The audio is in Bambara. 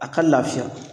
A ka lafiya